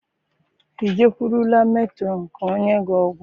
I jekwụrụla metrọn ka ọ nye gị ọgwụ?